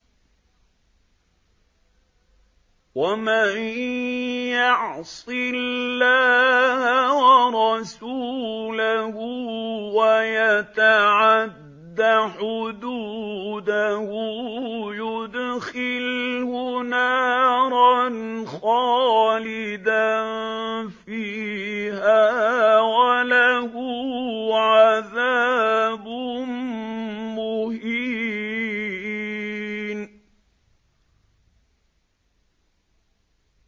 وَمَن يَعْصِ اللَّهَ وَرَسُولَهُ وَيَتَعَدَّ حُدُودَهُ يُدْخِلْهُ نَارًا خَالِدًا فِيهَا وَلَهُ عَذَابٌ مُّهِينٌ